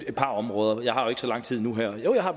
et par områder jeg har jo ikke så lang tid nu her jo jeg har